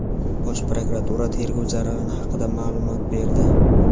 Bosh Prokuratura tergov jarayoni haqida maʼlumot berdi.